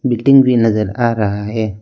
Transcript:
Building भी नजर आ रहा है।